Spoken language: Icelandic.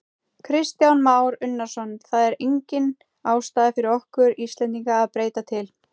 Kristján Már Unnarsson: Það er engin ástæða fyrir okkur Íslendinga að breyta til?